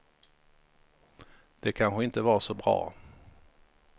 Det kanske inte var så bra.